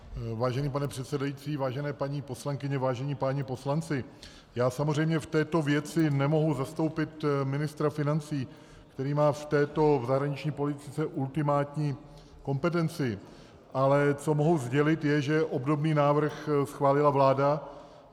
Vážený pane předsedající, vážené paní poslankyně, vážení páni poslanci, já samozřejmě v této věci nemohu zastoupit ministra financí, který má v této zahraniční politice ultimátní kompetenci, ale co mohu sdělit, je, že obdobný návrh schválila vláda.